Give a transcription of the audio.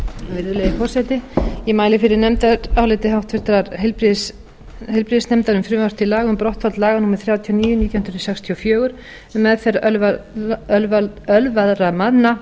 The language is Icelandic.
virðulegi forseti ég mæli fyrir nefndaráliti háttvirtur heilbrigðisnefndar um frv til laga um brottfall laga númer þrjátíu og níu nítján hundruð sextíu og fjögur um meðferð ölvaðra manna